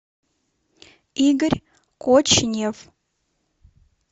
игорь кочнев